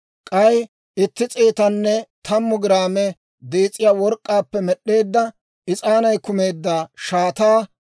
k'ay itti s'eetanne tammu giraame dees'iyaa work'k'aappe med'd'eedda is'aanay kumeedda shaataa;